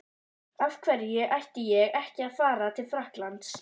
Af hverju ætti ég ekki að fara til Frakklands?